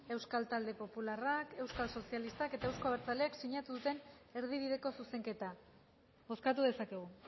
euskal talde popularrak euskal sozialistak eta euzko abertzaleek sinatu duten erdibideko zuzenketa bozkatu dezakegu